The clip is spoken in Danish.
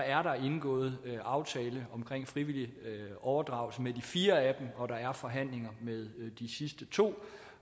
er der indgået aftale om frivillig overdragelse med de fire af dem og der er forhandlinger med de sidste to